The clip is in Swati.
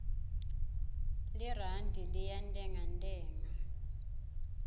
lirandi liyantengantenga